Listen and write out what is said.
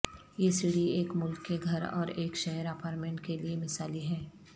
یہ سیڑھی ایک ملک کے گھر اور ایک شہر اپارٹمنٹ کے لئے مثالی ہیں